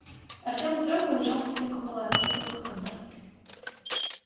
артем вздрогнул и вжался в стенку палатки это был хантер